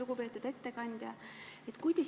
Lugupeetud ettekandja!